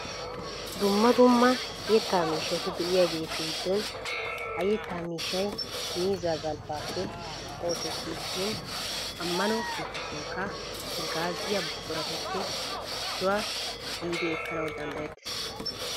Dumma dumma yetta miishshati de'iyageetu giddon ha yettaa miishshay miizzaa galbbaappe oosettiisinne ammano keettatunkka haggaaziya buquratuppe issuwa gidi ekkanawu danddayettees.